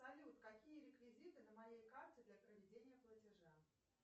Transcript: салют какие реквизиты на моей карте для проведения платежа